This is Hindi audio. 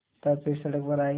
तब फिर सड़क पर आये